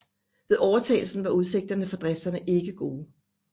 Ved overtagelsen var udsigterne for driften ikke gode